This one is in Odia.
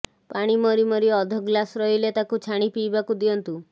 ପାଣି ମରି ମରି ଅଧଗ୍ଳାସ୍ ରହିଲେ ତାକୁ ଛାଣି ପିଇବାକୁ ଦିଅନ୍ତୁ